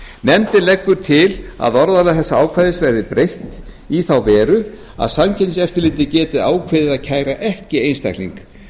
nefndin leggur til að orðalag þessa ákvæðis verði breytt í þá veru að samkeppniseftirlitið geti ákveðið að kæra ekki einstakling